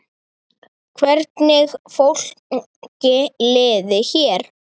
Hvernig fólki liði hér.